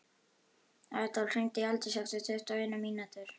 Adólf, hringdu í Aldísi eftir tuttugu og eina mínútur.